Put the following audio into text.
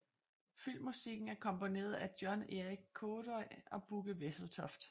Filmmusikken er komponeret af John Erik Kaada og Bugge Wesseltoft